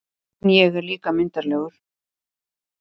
En ég er líka myndarlegur